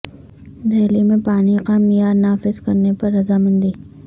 دہلی میں پانی کا معیار نافذ کرنے پر رضامندی